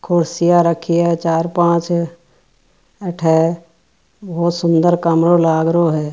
कुर्सिया रखी है चार पांच अठे बहुत सुन्दर कमराे लाग रहो है।